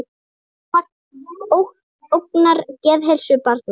Sjónvarp ógnar geðheilsu barna